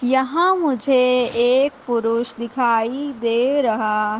यहां मुझे एक पुरुष दिखाई दे रहा--